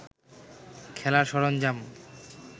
খেলার সরঞ্জাম